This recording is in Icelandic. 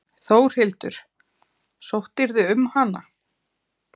Þórhildur: Sóttirðu um hana?